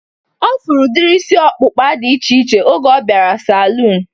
Ọ fụrụ udiri isi ọkpụkpa dị iche iche oge ọ bịara saluun